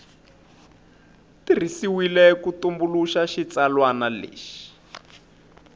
tirhisiwile ku tumbuluxa xitsalwana lexi